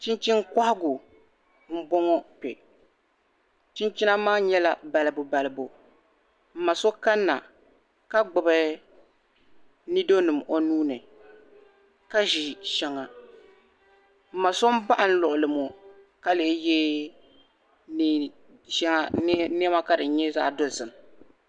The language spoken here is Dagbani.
Chinchini kɔhigu m bɔŋɔ kpe chinchina maa nyɛla balibu balibu m ma so kanna ka gbubi nidonima o nuuni ka ʒi shɛŋa m ma so baɣi n lɔɣili ŋɔ ka leei ye nɛma ka di nya zaɣ'dozim.